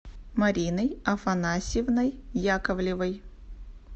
мариной афанасьевной яковлевой